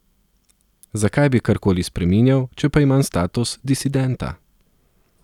Zakaj bi karkoli spreminjal, če pa imam status disidenta?